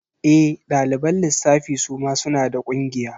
E, ɗaliban lissafi suma suna da ƙungiya.